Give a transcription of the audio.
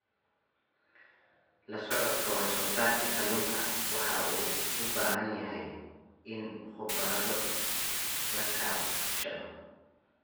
La socodka wax-soo-saarka kalluunka waxa uu u baahan yahay in khubarada la kaashado.